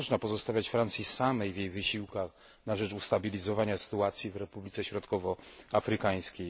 Nie można pozostawiać Francji samej w jej wysiłkach na rzecz ustabilizowania sytuacji w Republice Środkowoafrykańskiej.